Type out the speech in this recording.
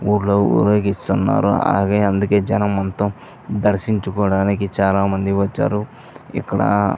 ఊర్లో ఊరేగిస్తున్నారు అలాగే అందుకే జనం మొత్తం దర్శించుకోటానికి చాలా మంది వచ్చారు ఇక్కడ --